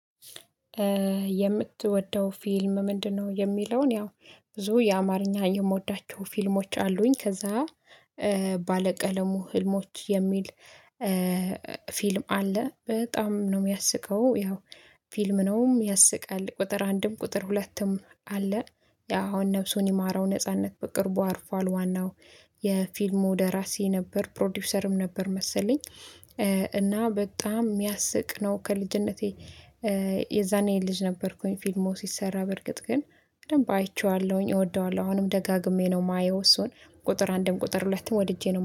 የምትወደው ፊልም ምንድነው? የሚለውን ያው ብዙ የአማርኛ የምወዳቸው ፊልሞች አሉኝ። ከዛ ባለቀለሙ ህልሞች የሚል ፊልም አለ በጣም ነው የሚያስቀው። ያው ፊልም ነውም ያስቃል ቁጥር አንድም ቁጥር ሁለትም አለ። ያው አሁን ነፍሱን ይማረው ነጻነት በቅርቡ አርፏል። ዋናው የፊልሙ ደራሲ ነበር ፕሮዲዩሰርም ነበር መሰለኝ እና በጣም የሚያስቅ ነው። ከልጅነቴ የዛኔ ልጅ ነበርኩኝ ፊልሙ ሲሰራ በርግጥ ግን በደንብ አይቼዋለሁኝ እወደዋለሁ። አሁንም ደጋግሜ ነው የማየው እሱን ቁጥር አንድም ቁጥር ሁለትም ወድጄ ነው